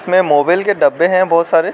इसमें मोबिल के डब्बे हैं बहुत सारे।